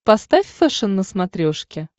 поставь фэшен на смотрешке